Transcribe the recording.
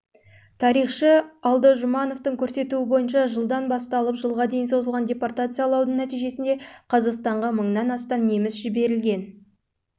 тарихшы алдажұмановтың көрсетуі бойынша жылдан басталып жылға дейін созылған депортациялаудың нәтижесінде қазақстанға мыңнан астам неміс жіберілген